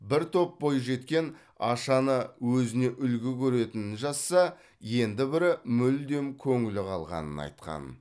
бір топ бойжеткен ашаны өзіне үлгі көретінін жазса енді бірі мүлдем көңілі қалғанын айтқан